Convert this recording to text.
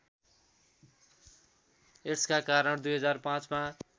एड्सका कारण २००५ मा